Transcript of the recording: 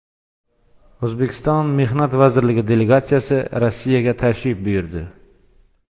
O‘zbekiston Mehnat vazirligi delegatsiyasi Rossiyaga tashrif buyurdi.